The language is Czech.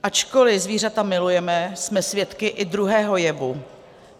Ačkoli zvířata milujeme, jsme svědky i druhého jevu.